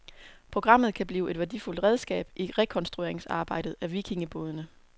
Programmet kan blive et værdifuldt redskab i rekonstrueringsarbejdet af vikingebådene.